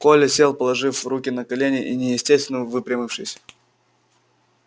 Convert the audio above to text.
коля сел положив руки на колени и неестественно выпрямившись